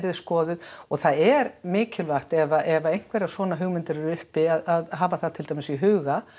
er skoðuð og það er mikilvægt ef að einhverjar svona hugmyndir eru uppi að hafa það til dæmis í huga